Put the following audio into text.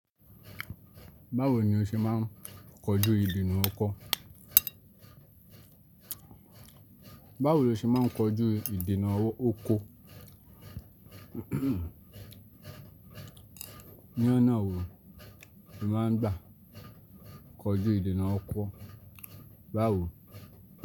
Báwo ni o ṣe máa ń kojú ìdènà ọkọ́? Báwo lo ṣe máa ń kojú ìdènà ọkọ́? Ní ọ̀nà wo ni o máa ń gbà kojú ìdènà ọkọ́? Báwo.